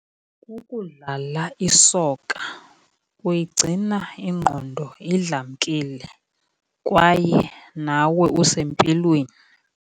Kukudlala isokha kuyigcina ingqondo idlamkile kwaye nawe usempilweni.